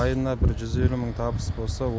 айына бір жүз елу мың табыс болса